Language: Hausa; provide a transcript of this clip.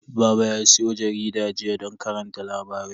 Baba ya siyo jaridar jiya don karanta labarai.